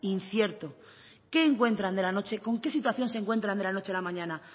incierto qué encuentran de la noche con qué situación se encuentran de la noche a la mañana